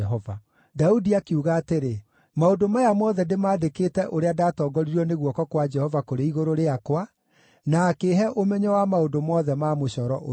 Daudi akiuga atĩrĩ, “Maũndũ maya mothe ndĩmandĩkĩte ũrĩa ndatongoririo nĩ guoko kwa Jehova kũrĩ igũrũ rĩakwa, na akĩĩhe ũmenyo wa maũndũ mothe ma mũcoro ũyũ.”